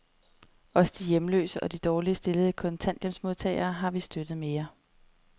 Også de hjemløse og de dårligt stillede kontanthjælpsmodtagere har vi støttet mere.